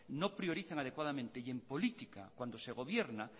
no priorizan adecuadamente y en política cuando se gobierna